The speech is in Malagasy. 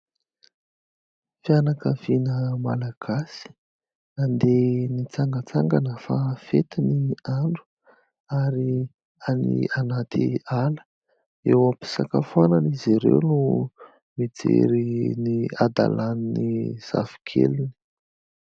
Fianakaviana malagasy, nandeha nitsangantsangana fa fety ny andro ary any anaty ala. Eo am-pisakafoanana izy ireo no mijery ny hadalan'ny zafikeliny.